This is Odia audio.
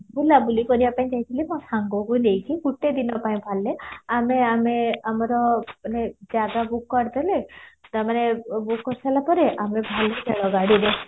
ବୁଲା ବୁଲି କରିବା ପାଇଁ ଯାଇଥିଲି ମୋ ସାଙ୍ଗକୁ ନେଇକି ଗୋଟେ ଦିନ ପାଇଁ ଆମେ ଆମେ ଆମର ମାନେ ଜାଗା book କରିଦେଲେ ତ ମାନେ book କରିସାରିଲା ଆମେ ବାହାରିଲୁ ଗାଡିରେ